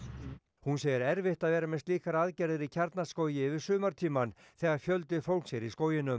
hún segir erfitt vera með slíkar aðgerðir í Kjarnaskógi yfir sumartímann þegar fjöldi fólks er í skóginum